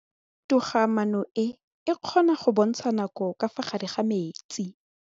Toga-maanô e, e kgona go bontsha nakô ka fa gare ga metsi.